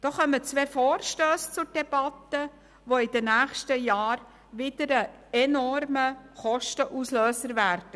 Da kommen zwei Vorstösse zur Debatte, die in den nächsten Jahren wieder enorme Kosten auslösen würden.